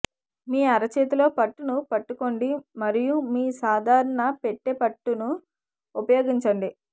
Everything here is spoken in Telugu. మీ అరచేతిలో పట్టును పట్టుకోండి మరియు మీ సాధారణ పెట్టె పట్టును ఉపయోగించండి